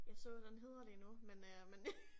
Jeg så den hedder lige nu men øh men